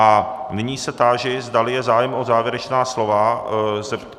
A nyní se táži, zdali je zájem o závěrečná slova.